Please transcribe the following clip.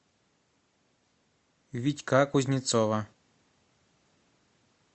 витька кузнецова